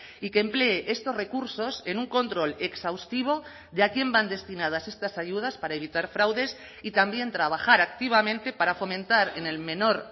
y que emplee estos recursos en un control exhaustivo de a quién van destinadas estas ayudas para evitar fraudes y también trabajar activamente para fomentar en el menor